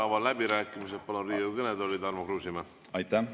Avan läbirääkimised ja palun Riigikogu kõnetooli Tarmo Kruusimäe.